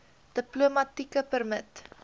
diplomatieke permit